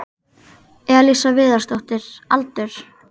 Elísa Viðarsdóttir Aldur?